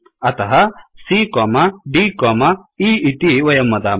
अतः cdए इति वयं वदामः